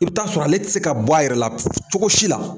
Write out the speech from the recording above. I bi t'a sɔrɔ ale te se ka bɔ a yɛrɛ la cogo si la.